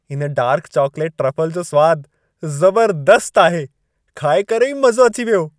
इन dark chocolate truffle जो सवादु ज़बरदस्त आहे। खाए करे ई मज़ो अची वियो।